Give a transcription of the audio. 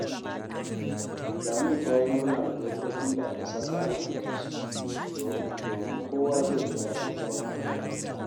Lami ta yi murna da dokokin da aka saka a gidansu, domin kowa zai ji daɗin zama a gidan